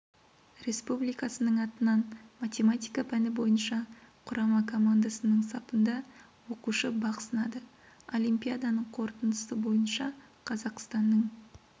республикасының атынан математика пәні бойынша құрама командасының сапында оқушы бақ сынады олимпиаданың қорытындысы бойынша қазақстанның